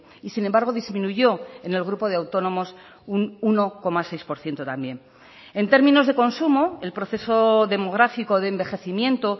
y sin embargo disminuyó en el grupo de autónomos un uno coma seis por ciento también en términos de consumo el proceso demográfico de envejecimiento